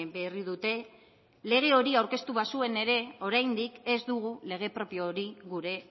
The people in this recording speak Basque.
berri dute lege hori aurkeztu bazuen ere oraindik ez dugu lege propio hori gure